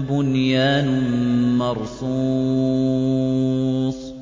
بُنْيَانٌ مَّرْصُوصٌ